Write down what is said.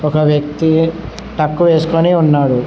ఒక వ్యక్తి టక్కు వేసుకొని ఉన్నాడు.